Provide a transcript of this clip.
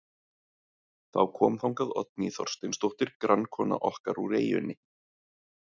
Þá kom þangað Oddný Þorsteinsdóttir, grannkona okkar úr eyjunni.